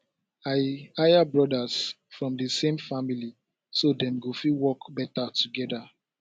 i hire brothers from di same family so dem go fit work better together